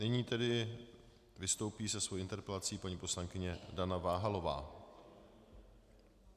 Nyní tedy vystoupí se svou interpelací paní poslankyně Dana Váhalová.